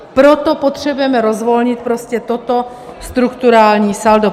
Proto potřebujeme rozvolnit prostě toto strukturální saldo.